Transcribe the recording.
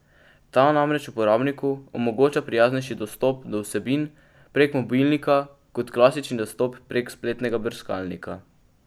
Ta namreč uporabniku omogoča prijaznejši dostop do vsebin prek mobilnika kot klasični dostop prek spletnega brskalnika.